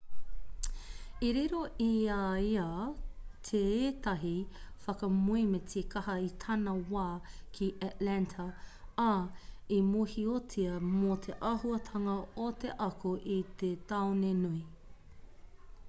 i riro i a ia teētahi whakamoemiti kaha i tana wā ki atlanta ā i mōhiotia mō te auahatanga o te ako i te taone nui